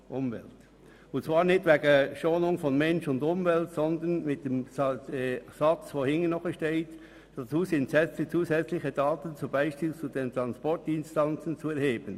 Das geschieht nicht wegen der Schonung von Mensch und Umwelt, sondern wegen dem anschliessenden Satz «Dazu sind zusätzliche Daten (z. B. Transportdistanzen) zu erheben.»